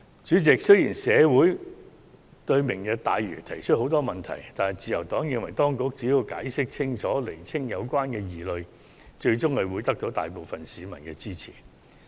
主席，雖然社會對"明日大嶼"的規劃提出很多問題，但自由黨認為當局只要解釋清楚，釐清有關疑慮，最終會獲得大部分市民支持。